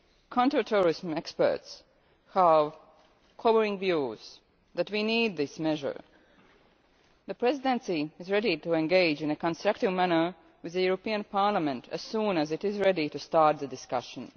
Counter terrorism experts have converging views that we need this measure. The Presidency is ready to engage in a constructive manner with the European Parliament as soon as it is ready to start the discussion.